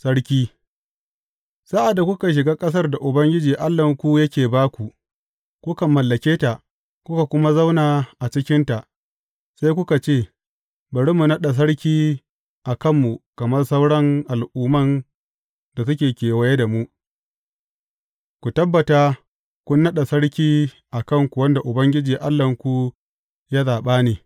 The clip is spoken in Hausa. Sarki Sa’ad da kuka shiga ƙasar da Ubangiji Allahnku yake ba ku, kuka mallake ta, kuka kuma zauna a cikinta, sai kuka ce, Bari mu naɗa sarki a kanmu kamar sauran al’umman da suke kewaye da mu, ku tabbata kun naɗa sarki a kanku wanda Ubangiji Allahnku ya zaɓa ne.